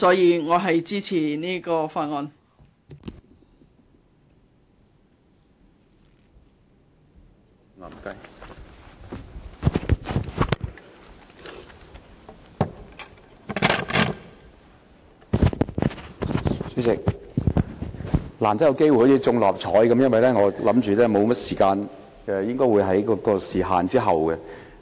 主席，我好像中了六合彩般，難得有機會發言，因為我預計所餘時間不多，我應該排在時限之後。